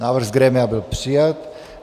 Návrh z grémia byl přijat.